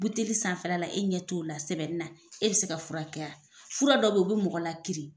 Buteli sanfɛ la e ɲɛ t' o la sɛbɛnni na , e bɛ se ka furakɛ ? fura dɔ bɛ yen u bɛ mɔgɔ la kiiri.